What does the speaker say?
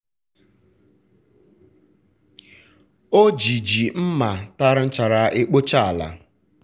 um o ji ji um mma tara nchara ekpochaa ala.